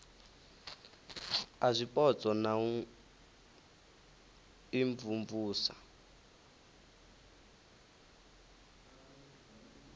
a zwipotso na u imvumvusa